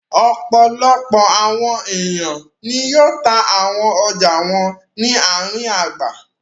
Ọ̀pọ̀lọpọ̀ àwọn ènìyàn ni yóò ta àwọn ọjà wọn ni ààrin abà.